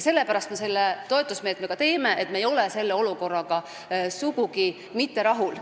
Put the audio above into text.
Sellepärast me selle toetusmeetme ka teeme, et me ei ole olukorraga sugugi mitte rahul.